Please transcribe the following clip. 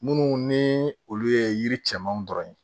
Minnu ni olu ye yiri cɛmanw dɔrɔn ye